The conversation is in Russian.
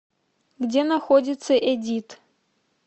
где находится эдит